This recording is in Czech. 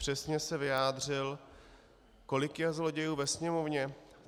Přesně se vyjádřil: Kolik je zlodějů ve Sněmovně?